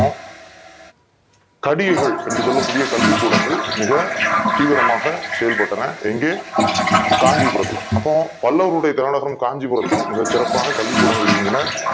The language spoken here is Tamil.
கடிகைகள் என்று சொல்லக் கூடிய கல்வி கூடங்கல் மிக தீவிரமாக செயல்பட்டன எங்கே காஞ்சிபுரத்துல அப்போ பல்லவர்கலுடைய காலத்தில் காஞ்சிபுரத்தில் இந்த சிறப்பான கல்வி கூடங்க்கல் இயங்கின